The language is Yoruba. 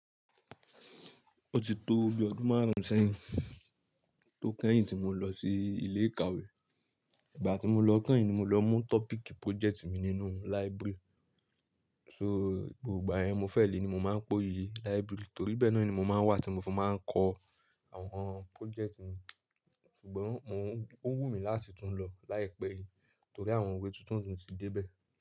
Ó ti tó bí ọdún márùn sẹ́yìn tó kẹ́yìn tí mo lọ sí ilé ìkàwé. Ìgbà tí mo lọ kẹ́yìn ni mo lọ mú tọ́píìkì pójẹ́tì mi nínú library. So, gbogbo ìgbà yẹn mo fẹ́ lè ni mo máa ń po yí library torí bẹ́ẹ náà ni mo máa ń wà tí mo fi máa ń kọ àwọn pójẹ́tì mi. Ṣùgbọ́n ó wùmí láti tún lọ láìpẹ́ yìí torí àwọn ìwé tuntun tí dé bẹ́ẹ̀